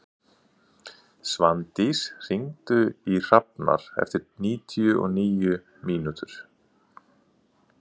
Svandís, hringdu í Hrafnar eftir níutíu og níu mínútur.